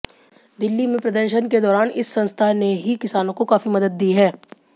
दिल्ली में प्रदर्शन के दौरान इस संस्था ने ही किसानों को काफी मदद दी है